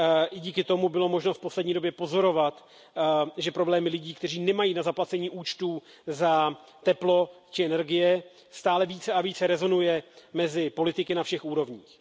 I díky tomu bylo možné v poslední době pozorovat, že problémy lidí, kteří nemají na zaplacení účtů za teplo či energie, stále více a více rezonuje mezi politiky na všech úrovních.